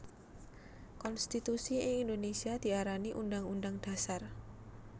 Konstitusi ing Indonesia diarani Undhang Undhang Dhasar